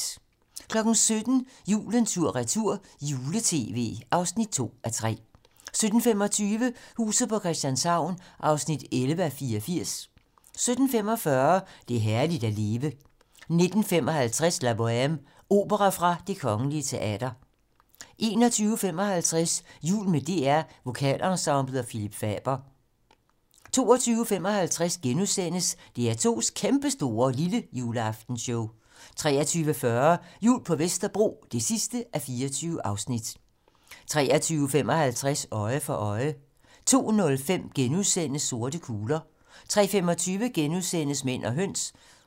17:00: Julen tur/retur - jule-tv (2:3) 17:25: Huset på Christianshavn (11:84) 17:45: Det er herligt at leve 19:55: La Boheme - Opera fra Det Kgl. Teater 21:55: Jul med DR Vokalensemblet og Phillip Faber 22:55: DR2's kæmpestore lillejuleaftenshow * 23:40: Jul på Vesterbro (24:24) 23:55: Øje for øje 02:05: Sorte kugler * 03:25: Mænd og høns *